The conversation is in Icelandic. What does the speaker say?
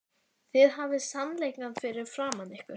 Þið hafið sannleikann fyrir framan ykkur.